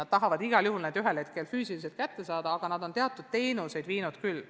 Nad tahavad igal juhul neid noori ka füüsiliselt kätte saada ja on teatud teenuseid nendeni viinud küll.